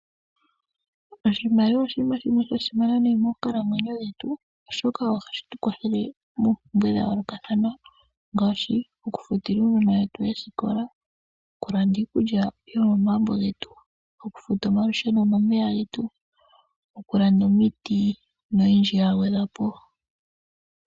Oshimaliwa oshinima shimwe sha simana nayi monkalamwenyo yetu oshoka ohashi tu kwathele moompumbe dha yoolokathana ngaashi; okufutila uunona wetu oosikola, okulanda iikulya yo momagumbo getu, okufuta omalusheno nomeya getu, okulanda omiti noyindji yagwedhwa po.